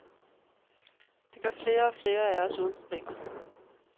Det gør flere og flere af os uden problemer.